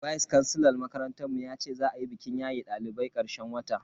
Vice kansilar makarantar mu yace za a yi bikin yayen dalibai karshen wata